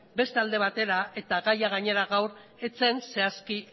beste alde batera eta gaia gainera gaur ez zen zehazki